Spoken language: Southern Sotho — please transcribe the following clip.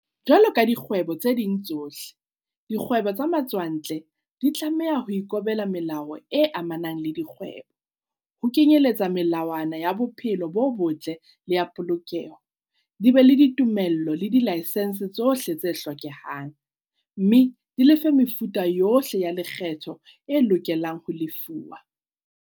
Jwalo ka dikgwebo tse ding tsohle, dikgwebo tsa matswantle di tlameha ho ikobela melao e amanang le dikgwebo, ho kenyeletsa melawana ya bophelo bo botle le ya polokeho, di be le ditumello le dilaesense tsohle tse hlokehang, mme di lefe mefuta yohle ya lekgetho e loke lang ho lefuwa.